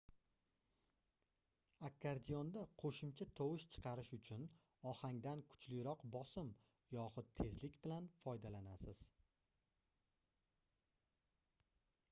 akkordeonda qoʻshimcha tovush chiqarish uchun ohangdan kuchliroq bosim yoxud tezlik bilan foydalanasiz